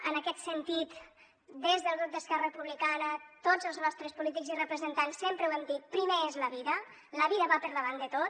en aquest sentit des del grup d’esquerra republicana tots els nostres polítics i representants sempre ho hem dit primer és la vida la vida va per davant de tot